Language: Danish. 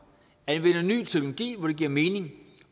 anvender ny teknologi hvor det giver mening